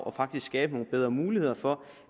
og faktisk skabe nogle bedre muligheder for